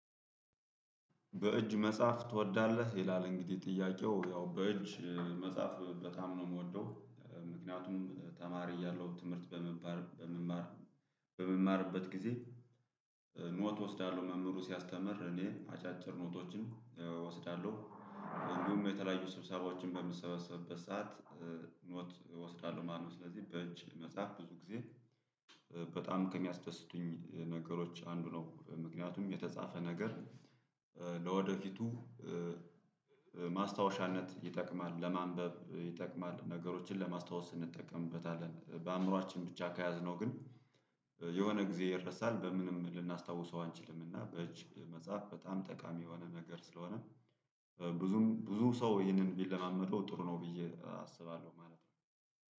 በእጅ መጻፍ ትወዳለህ ይላል? እንግዲህ ጥያቄው ያው በእጅ መጻፍ በጣም ነው የምወደው። ምክንያቱም ተማሪ ያለው ትምህርት በመማር በመማር በመማርበት ጊዜ ኖት እወስዳለሁ መምህሩ ሲያስተምር እኔ አጫጭር ኖቶችን እወስዳለሁ። እንዲሁም የተለያዩ ስብሰባዎች በምሰበሰብበት ሰዓት ኖት እወስዳለሁ ማለት ነው። ስለዚህ በእጅ መጻፍ ብዙ ጊዜ በጣም ከሚያስደስቱኝ ነገሮች አንዱ ነው። ምክንያቱም የተጻፈ ነገር ለወደፊቱ ማስታወሻነት ይጠቅማል ለማንበብ ይጠቅማል ነገሮችን ለማስታወስ እንጠቀምበታለን በአእምሮአችን ብቻ ከያዝነው ግን የሆነ ጊዜ ይረሳል። በምንም ልናስታውሰው አንችልምና በእጅ መጽሐፍ በጣም ጠቃሚ የሆነ ነገር ስለሆነ። ብዙም ብዙ ሰው ይሄንን ቢለማመደው ጥሩ ነው ብዬ አስባለሁ ማለት ነው